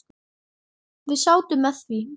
Við sátum með því.